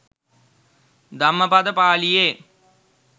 Dhammapada පාලියේ